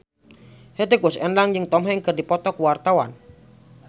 Hetty Koes Endang jeung Tom Hanks keur dipoto ku wartawan